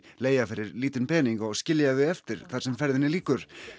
leigja fyrir lítinn pening og skilja þau eftir þar sem ferðinni lýkur